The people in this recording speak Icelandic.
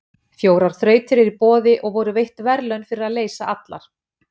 Fjórar þrautir eru í boði og voru veitt verðlaun fyrir að leysa allar.